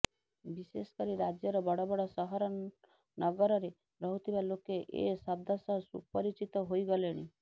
ବିଶେଷକରି ରାଜ୍ୟର ବଡ଼ବଡ଼ ସହରନଗରରେ ରହୁଥିବା ଲୋକେ ଏ ଶବ୍ଦ ସହ ସୁପରିଚିତ ହୋଇଗଲେଣି